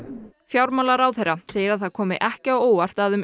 fjármálaráðherra segir að það komi sér ekki á óvart að um